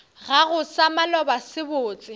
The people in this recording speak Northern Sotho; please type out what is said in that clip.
gago sa maloba se botse